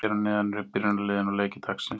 Hér að neðan eru byrjunarliðin og leikir dagsins.